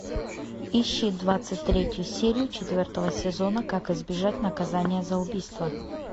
ищи двадцать третью серию четвертого сезона как избежать наказания за убийство